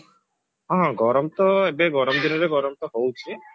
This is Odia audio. ହଁ ହଁ ଗରମ ତ ଏବେ ଗରମ ଦିନରେ ଗରମ ତ ହଉଛି